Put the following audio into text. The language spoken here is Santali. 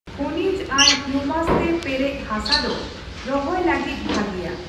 ᱠᱷᱚᱱᱤᱡ ᱟᱨ ᱦᱤᱣᱢᱟᱥ ᱛᱮ ᱯᱮᱨᱮᱡ ᱦᱟᱥᱟ ᱫᱚ ᱨᱚᱦᱚᱭ ᱞᱟᱹᱜᱤᱫ ᱵᱷᱟᱜᱮᱭᱟ ᱾